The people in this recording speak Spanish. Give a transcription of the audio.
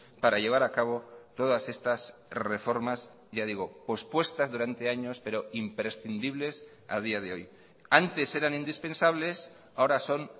para llevar a cabo todas estas reformas ya digo pospuestas durante años pero imprescindibles a día de hoy antes eran indispensables ahora son